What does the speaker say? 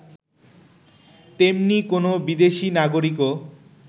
তেমনি কোন বিদেশী নাগরিকও